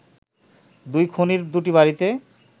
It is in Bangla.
দুই খুনির দুটি বাড়িতে